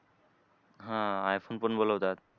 हां iPhone पण बोलवतात.